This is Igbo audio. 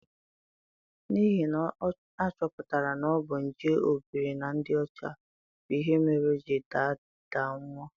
N'ihi na a chọpụtara na ọ bu nje obiri na ndị ọcha bụ ihe mere o ji daa daa nwụọ.